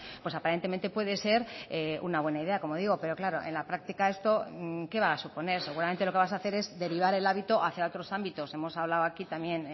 pues aparentemente puede ser una buena idea como digo pero claro en la práctica esto qué va a suponer seguramente lo que vas a hacer es derivar el hábito hacia otros ámbitos hemos hablado aquí también